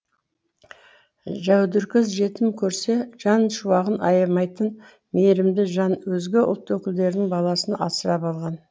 жәудіркөз жетім көрсе жан шуағын аямайтын мейірімді жан өзге ұлт өкілдерінің баласын асырап алған